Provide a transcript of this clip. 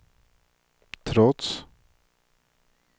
trots